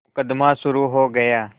मुकदमा शुरु हो गया